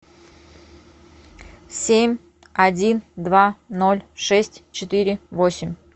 семь один два ноль шесть четыре восемь